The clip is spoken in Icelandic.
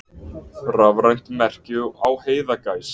Rafrænt merki á heiðagæs.